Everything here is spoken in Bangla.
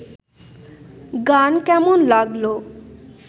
গান কেমন লাগল